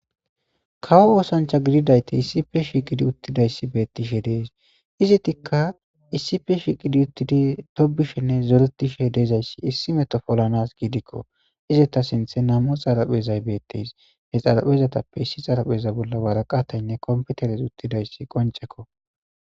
kawo oosancha gididaytey issife shiqidi uttidayssi beettishe dees izi tikka issife shiiqidi uttidi tobishenne zoretishe deezayssi issi metofolanas giidikko izeta sinthe namu xaraphezay beetteys he xarapezatappe issi xarapheza bolla waraqataynne kompeteres uttidayssi qoncekko